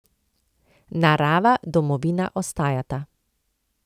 Narava, domovina ostajata.